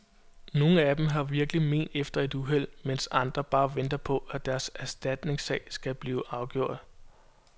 Nogen af dem har virkelig men efter et uheld, mens andre bare venter på, at deres erstatningssag skal blive afgjort.